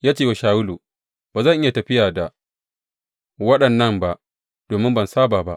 Ya cewa Shawulu, Ba zan iya tafiya da waɗannan ba, domin ban saba ba.